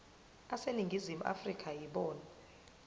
aseningizimu afrika yibona